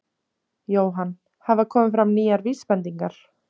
Jóhann: Hafa komið fram nýjar vísbendingar?